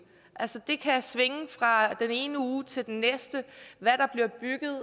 altså det kan svinge fra den ene uge til den næste